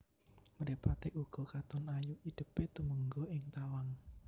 Mripaté uga katon ayu idèpé tumengga ing tawang